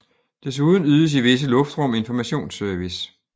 Desuden ydes i visse luftrum informationsservice